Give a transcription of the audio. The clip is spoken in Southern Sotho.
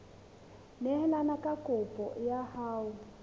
neelane ka kopo ya hao